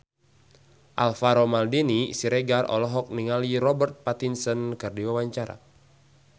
Alvaro Maldini Siregar olohok ningali Robert Pattinson keur diwawancara